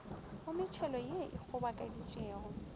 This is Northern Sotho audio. go metšhelo ye e kgobokeditšwego